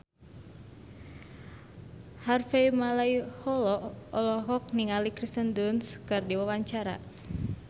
Harvey Malaiholo olohok ningali Kirsten Dunst keur diwawancara